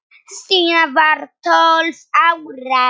Stína var tólf ára.